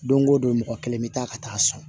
Don o don mɔgɔ kelen bɛ taa ka taa sɔn